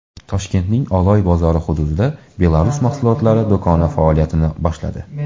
Toshkentning Oloy bozori hududida Belarus mahsulotlari do‘koni faoliyatini boshladi.